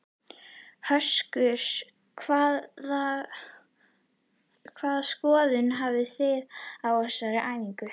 Höskuldur: Hvaða skoðun hafi þið á þessum æfingum?